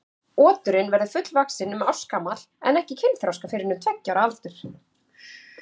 Oturinn verður fullvaxinn um ársgamall en ekki kynþroska fyrr en um tveggja ára aldur.